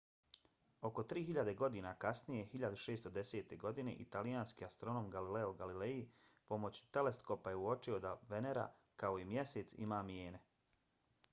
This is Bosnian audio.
oko tri hiljade godina kasnije 1610. godine italijanski astronom galileo galilei pomoću teleskopa je uočio da venera kao i mjesec ima mijene